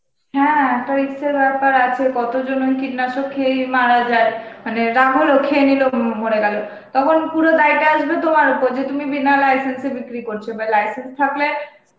হ্যাঁ একটা risk এর বেপার আছে কত জন কীটনাশক খেয়ে মারা যায়, মানে রাগ হলো খেয়ে নিল মরে গেলো, তখন পুরো দেয়টা আসবে তোমার ওপর তুমি বিনা license এ বিক্রি করছ বা license থাকলে